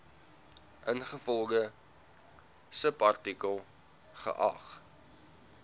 ingevolge subartikel geag